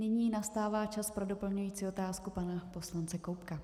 Nyní nastává čas pro doplňující otázku pana poslance Koubka.